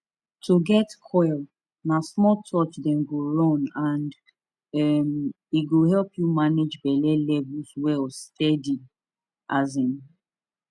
to get coil na small touch dem go run and um e go help you manage belle levels well steady um